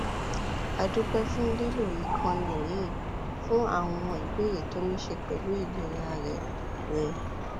a dúpẹ fún lílo ìkànnì yìí fún àwọn ìbéèrè tó ní í ṣe pẹlú ìlera rẹ rẹ